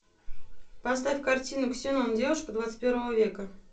поставь картину ксенон девушка двадцать первого века